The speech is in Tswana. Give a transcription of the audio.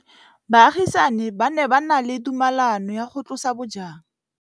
Baagisani ba ne ba na le tumalanô ya go tlosa bojang.